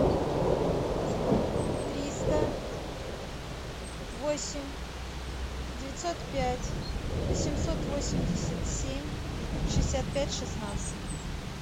триста восемь девятьсот пять восемьсот восемьдесят семь шестьдесят пять шестнадцать